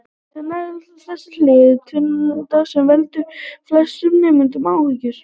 Sennilega er það þessi hlið tvinntalnanna sem veldur flestum nemendum áhyggjum.